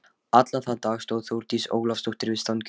Allan þann dag stóð Þórdís Ólafsdóttir við stangirnar.